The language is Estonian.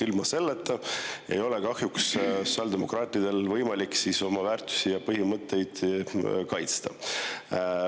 Ilma selleta ei ole sotsiaaldemokraatidel kahjuks võimalik oma väärtusi ja põhimõtteid kaitsta.